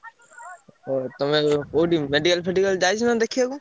ଓହୋ! ତମେ କୋଉଠି medical ଫେଡିକାଲ ଯାଇଛନା ଦେଖେଇଆକୁ?